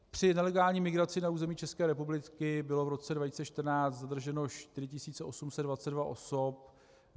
Při nelegální migraci na území České republiky bylo v roce 2014 zadrženo 4 822 osob.